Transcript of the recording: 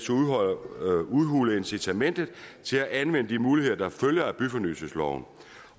udhule incitamentet til at anvende de muligheder der følger af byfornyelsesloven